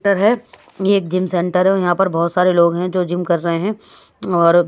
है ये एक जिम सेंटर है यहां पर बहुत सारे लोग हैं जो जिम कर रहे हैं और--